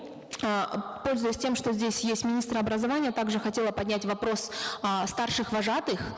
э пользуясь тем что здесь есть министр образования также хотела поднять вопрос о старших вожатых